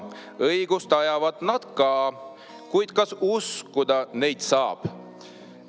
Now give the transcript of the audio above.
Õigust ajavad nad ka, kuid kas uskuda neid saab?